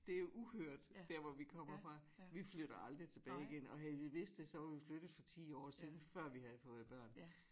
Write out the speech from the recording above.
Det jo uhørt der hvor vi kommer fra vi flytter aldrig tilbage igen og havde vi vidst det så var vi flyttet for 10 år siden før vi havde fået børn